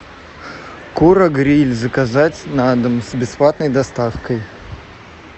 кура гриль заказать на дом с бесплатной доставкой